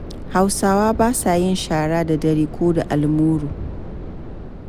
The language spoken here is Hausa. Hausawa ba sa yin shara da daddare ko da almuru.